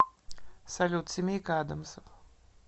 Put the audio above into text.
салют семейка адамсов